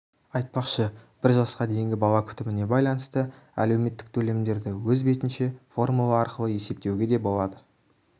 айтпақшы бір жасқа дейінгі бала күтіміне байланысты әлеуметтік төлемдерді өз бетінше формула арқылы есептеуге де болады